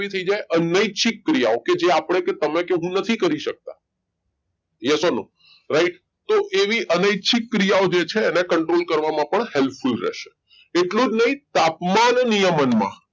થઈ જાય અનૈચ્છિક ક્રિયાઓ કે જે આપણે કે તમે કે હું નથી કરી શકતા yes or no right તો એવી અનૈચ્છિક ક્રિયાઓ જે છે એને control કરવામાં પણ helpful રહેશે એટલું જ નહીં તાપમાન નિયમનમાં